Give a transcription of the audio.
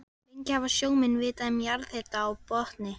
Lengi hafa sjómenn vitað um jarðhita á botni